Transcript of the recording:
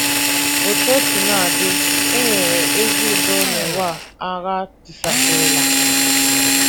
Otú o sina dị, e nwere ezi udo n’ụwa a agha tisasịrịla.